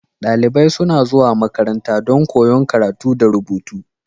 Dalibai suna zuwa makaranta don koyon karatu da rubutu.